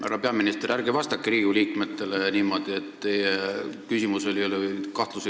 Härra peaminister, ärge vastake Riigikogu liikmetele niimoodi, et teie kahtlusel ei ole alust.